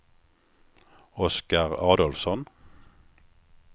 Oskar Adolfsson